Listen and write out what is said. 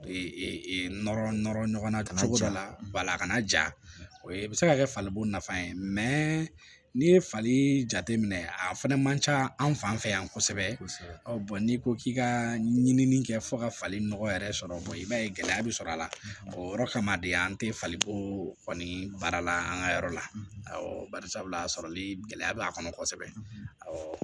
Nɔrɔ nɔrɔ ɲɔgɔnna kana a kana ja o ye i bɛ se ka kɛ falibo nafa ye n'i ye fali jateminɛ a fɛnɛ man ca anw fan fɛ yan kosɛbɛ n'i ko k'i ka ɲinini kɛ fɔ ka fali nɔgɔ yɛrɛ sɔrɔ i b'a ye gɛlɛya bi sɔrɔ a la o yɔrɔ kama de an te falenko kɔni baara la an ka yɔrɔ la awɔ barisabula a sɔrɔli gɛlɛya b'a kɔnɔ kosɛbɛ